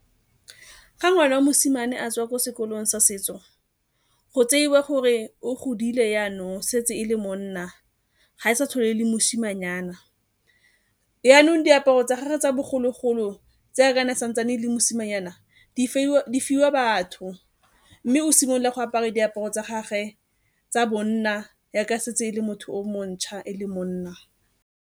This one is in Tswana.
Ga ngwana wa mosimane a tswa ko sekolong sa setso, go tseiwa gore o godile yaanong, o setse e le monna ga e sa tlhole e le mosimanyana. Yaanong diaparo tsa bogologolo tse yaaka ne a sa ntsane e le mosimanyana di fiwa batho mme o simolola go apara diaparo tsa gagwe tsa bonna yaaka setse e le motho o montšha e le monna.